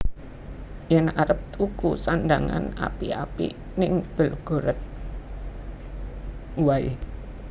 Yen arep tuku sandhangan apik apik ning Belgorod wae